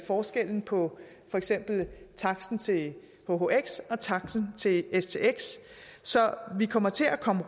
forskellen på for eksempel taksten til hhx og taksten til stx så vi kommer til at komme